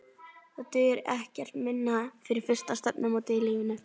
Það dugir ekkert minna fyrir fyrsta stefnumótið í lífinu.